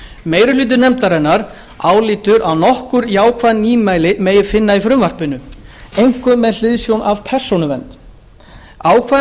meiri hluti nefndarinnar álítur að nokkur jákvæð nýmæli megi finna í frumvarpinu einkum með hliðsjón af persónuvernd ákvæði